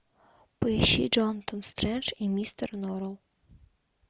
поищи джонатан стрендж и мистер норрелл